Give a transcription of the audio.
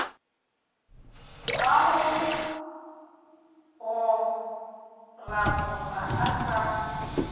wa go goragora a sa